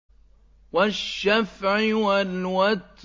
وَالشَّفْعِ وَالْوَتْرِ